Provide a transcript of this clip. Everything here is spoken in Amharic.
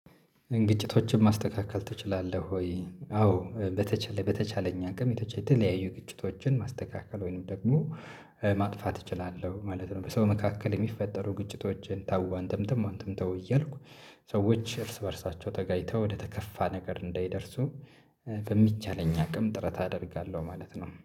ግጭቶችን ማስተካከል ትችላለህ ወይ? አዎ በተቻለ በተቻለኝ አቅም የተለያዩ ግጭቶችን ማስተካከል ወይንም ደግሞ ማጥፋት እችላለሁ ማለት ነው። በሰው መካከል የሚፈጠሩ ግጭቶችን ታው አንተም ተው አንተም ታው እያልኩ ሰዎች እርስ በእርሳቸው ተጋጭተው ወደ ተከፋ ነገር እንዳይደርሱ። በሚቻለኝ አቅም ጥረት አደርጋለሁ ማለት ነው